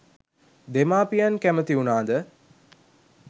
දෙමාපියන් කැමැති වුණාද?